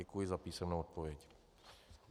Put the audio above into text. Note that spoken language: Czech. Děkuji za písemnou odpověď.